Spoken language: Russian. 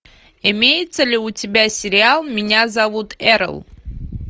имеется ли у тебя сериал меня зовут эрл